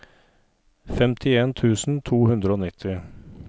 femtien tusen to hundre og nitti